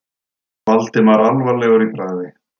Valdimar alvarlegur í bragði.